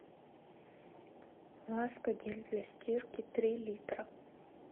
ласка гель для стирки три литра